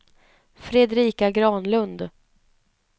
Fredrika Granlund